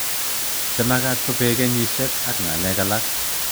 Che makat ko pee kenyishek ak ngalek alak.